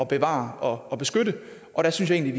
bevare og beskytte og jeg synes egentlig